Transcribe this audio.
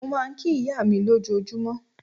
Mo máa ń kí ìyá mi lójoojúmọ́.